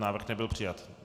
Návrh nebyl přijat.